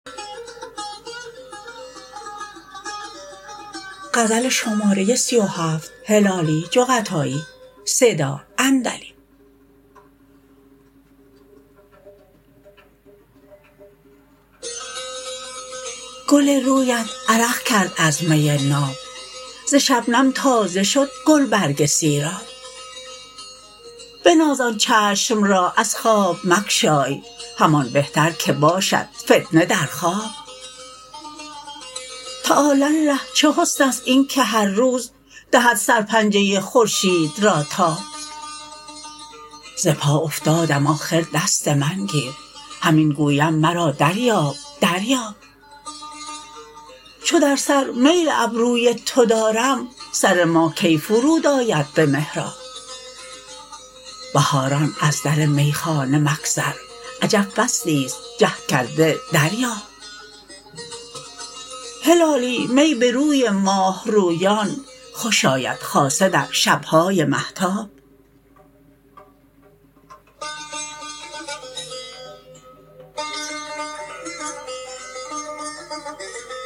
گل رویت عرق کرد از می ناب ز شبنم تازه شد گل برگ سیراب بناز آن چشم را از خواب مگشای همان بهتر که باشد فتنه در خواب تعالی الله چه حسنست اینکه هر روز دهد سر پنجه خورشید را تاب ز پا افتادم آخر دست من گیر همین گویم مرا دریاب دریاب چو در سر میل ابروی تو دارم سر ما کی فرودآید بمحراب بهاران از در می خانه مگذر عجب فصلیست جهد کرده دریاب هلالی می بروی ماهرویان خوش آید خاصه در شبهای مهتاب